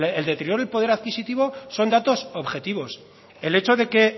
el deterioro del poder adquisitivo son datos objetivos el hecho de que